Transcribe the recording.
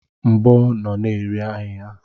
Mgbo nọ na-eri ahịhịa.